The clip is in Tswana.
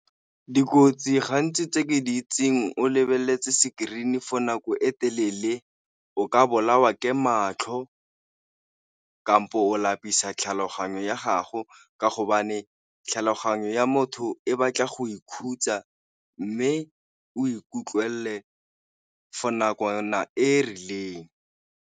Dikotsi gantsi tse ke di itseng o lebeletse screen for nako e telele o ka bolawa ke matlho, ka kampo o lapisa tlhaloganyo ya ka gago ka hobane tlhaloganyo ya motho e batla go ikhutsa, mme o ikutlwe pele for nakwana e rileng.